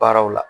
Baaraw la